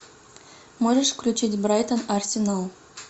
можешь включить брайтон арсенал